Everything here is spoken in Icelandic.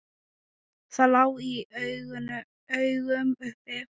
Það lá í augum uppi.